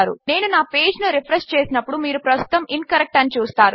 నేను నా పేజ్ ను రిఫ్రెష్ చేసినప్పుడు మీరు ప్రస్తుతము ఇన్కరెక్ట్ అని చూస్తారు